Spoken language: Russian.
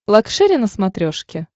лакшери на смотрешке